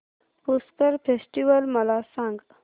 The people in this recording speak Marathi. पुष्कर फेस्टिवल मला सांग